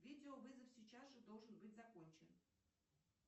видео вызов сейчас же должен быть закончен